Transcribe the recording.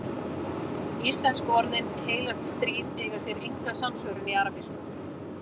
Íslensku orðin heilagt stríð eiga sér enga samsvörun í arabísku.